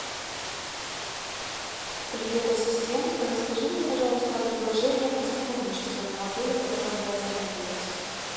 привет ассистент расскажи мне пожалуйста о предложениях о сотрудничестве в отеле в котором я остановилась